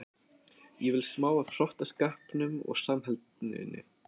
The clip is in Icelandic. Ég vil smá af hrottaskapnum og samheldninni.